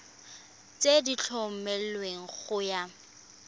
tse di tlhomilweng go ya